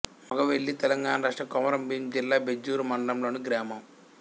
మొగవెల్లి తెలంగాణ రాష్ట్రం కొమరంభీం జిల్లా బెజ్జూర్ మండలంలోని గ్రామం